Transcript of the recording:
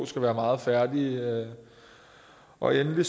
skal være meget færdige og endelig